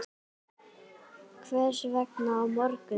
Hvers vegna á morgun?